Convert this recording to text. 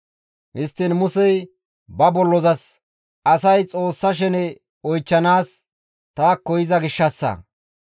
Histtiin Musey ba bollozas, «Asay Xoossa shene oychchanaas taakko yiza gishshassa.